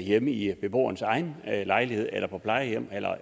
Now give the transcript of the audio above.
hjemme i beboerens egen lejlighed eller på et plejehjem